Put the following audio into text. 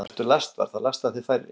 Vertu lastvar – þá lasta þig færri.